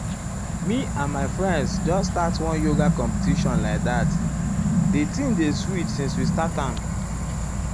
me and my friends just start one yoga competition like that di thing dey sweet since we start am.